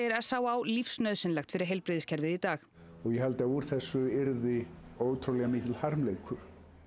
s á á lífsnauðsynlega fyrir heilbrigðiskerfið í dag ég held að úr þessu yrði ótrúlega mikill harmleikur